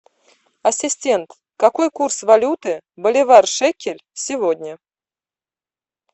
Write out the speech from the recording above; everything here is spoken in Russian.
ассистент какой курс валюты боливар шекель сегодня